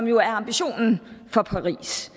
jo er ambitionen